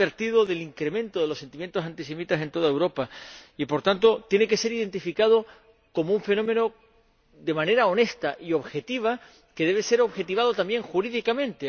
Ha advertido del incremento del sentimiento antisemita en toda Europa y, por tanto, tiene que ser identificado como un fenómeno de manera honesta y objetiva, que debe ser objetivado, también, jurídicamente.